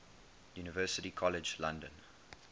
university college london